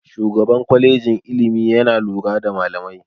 Shugaban kwalejin ilimi yana lura da malamai.